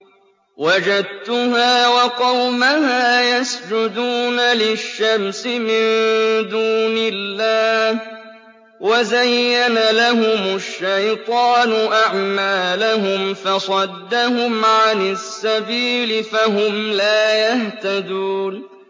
وَجَدتُّهَا وَقَوْمَهَا يَسْجُدُونَ لِلشَّمْسِ مِن دُونِ اللَّهِ وَزَيَّنَ لَهُمُ الشَّيْطَانُ أَعْمَالَهُمْ فَصَدَّهُمْ عَنِ السَّبِيلِ فَهُمْ لَا يَهْتَدُونَ